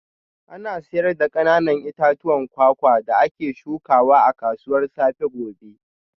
Ana sayar da kananan itatuwan kwakwa da ake shukawa a kasuwar safe gobe